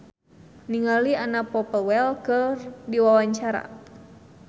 Jamal Mirdad olohok ningali Anna Popplewell keur diwawancara